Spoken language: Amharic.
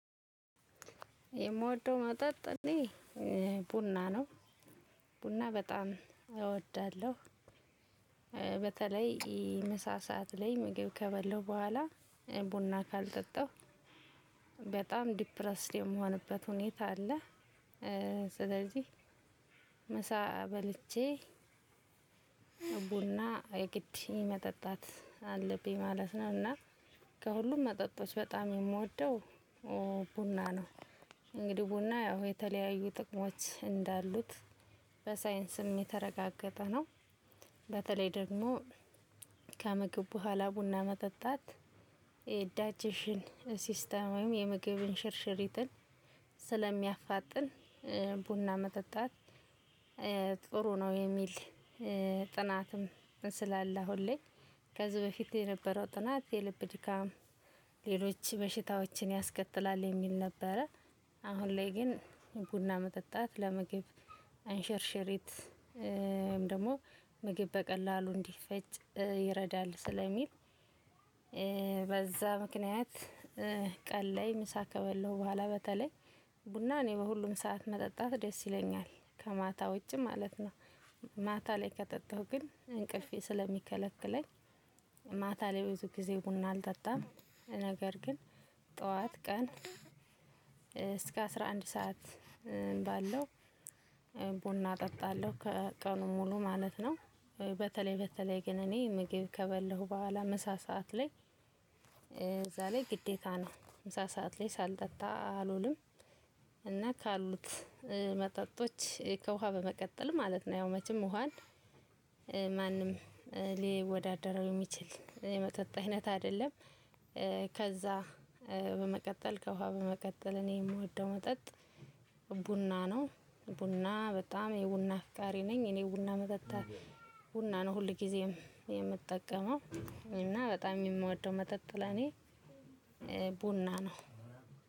የምወደው መጠጥ አኔ ቡና ነው ቡና በጣም እወዳለሁ። በተለይ ምሳ ሰዓት ላይ ምግብ ከበለሁ ቡኋላ ቡና ካልጠጣሁ በጣም ዲፕረስድ የምሆንበት ሁኔታ አለ። ስለዚህ ምሳ በልቼ ቡና የግድ መጠጣት አለብኝ ማለት ነው። እና ከሁሉም መጠጦች በጣም የምወደው ቡና ነው። እንግዲህ ቡና ያው የተለያዩ ጥቅሞች እንዳሉት በሳይንስም የተረጋገጠ ነው። በተለይ ደግሞ ከምግብ ቡሀላ ቡና መጠጣት የዳጄሽን ሲስተም ወይም የምግብ እንሽርሽሪትን ስለሚያፋጥን ቡና መጠጣት መጠጣት ጥሩ ነው። የሚል ጥናትም ስላለ አሁን ላይ ከዚህ በፊት የነበረው ጥናት የልብ ድካም ሌሎች በሽታዎችን ያስከትላል የሚል ነበረ። አሁን ላይ ግን ቡና መጠጣት ለመግብ አንሸርሸሪት ወይም ደግሞ ምግብ በቀላሉ እንዲፈጭ ይረዳል ስለሚል። በዛ ምክንያት ቀላይ ምሳ ከበለሁ በኋላ በተለይ ቡና እኔ በሁሉም ሰዓት መጠጣት ደስ ይለኛል ከማታ ውጪ ማለት ነው። ማታ ላይ ከጠጣሁ ግን እንቅልፌ ስለሚከለክለኝ ማታ ላይ ብዙ ጊዜ ቡና አልጠጣም። ነገር ግን ጠዋት ቀን አስራ አንድ ሰዓት ባለው ቡና እጠጣለሁ ከቀኑ ሙሉ ማለት ነው። በተለይ በተለይ ግን እኔ ምግብ ከበለሁ በኋላ ምሳ ሰዓት ላይ እዛ ለይ ግዴታ ነው ምሳ ሰዓት ላይ ሳልጠጣ አልውልም። እና ካሉት መጠጦች ከውሃ በመቀጠል ማለት ነው መቼም ውሃን ማንም ሊወዳደረው የሚችል የመጠጥ አይነት አይደለም። ከዛ በመቀጠል ከውሃ በመቀጠል እኔ ምወደው መጠጥ ቡና ነው። ቡና በጣም የቡና አፍቃሪ ነኝ እኔ ቡና መጠጣት ቡና ነው ሁል ጊዜም የምጠቀመው እና በጣም የምወደው መጠጥ ለኔ ቡና ነው።